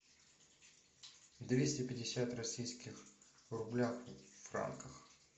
двести пятьдесят российских рублях в франках